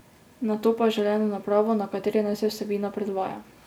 Nato pa želeno napravo, na kateri naj se vsebina predvaja.